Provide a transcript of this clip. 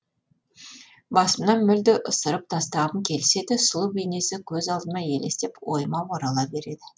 басымнан мүлде ысырып тастағым келсе де сұлу бейнесі көз алдыма елестеп ойыма орала береді